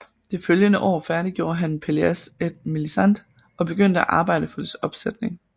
Det følgende år færdiggjorde han Pelléas et Mélisande og begyndte at arbejde for dets opsætning